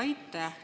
Aitäh!